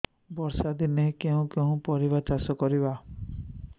ବର୍ଷା ଦିନରେ କେଉଁ କେଉଁ ପରିବା ଚାଷ କରିବା